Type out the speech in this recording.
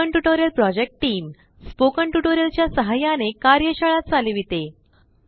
spoken tutorial project team spoken tutorial च्या साहाय्याने कार्यशाळा चालविते